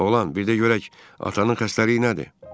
Oğlan, bir də görək atanın xəstəliyi nədir?